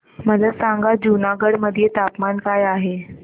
मला सांगा जुनागढ मध्ये तापमान काय आहे